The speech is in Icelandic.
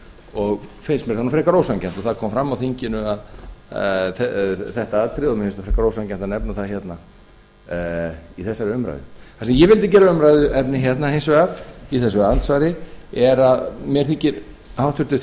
og finnst mér það frekar ósanngjarnt það kom fram á þinginu og mér finnst frekar ósanngjarnt að nefna það í þessari umræðu það sem ég vildi gera að umræðuefni í þessu andsvari er að mér þykir háttvirtur